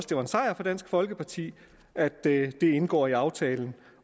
det var en sejr for dansk folkeparti at det kom til at indgå i aftalen